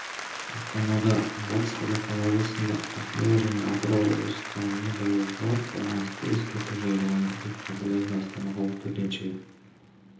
астанада батыс қазақстан облысында ақмола және атырау облыстарындадауылға байланысты ескерту жарияланды деп хабарлайды астана қалалық төтенше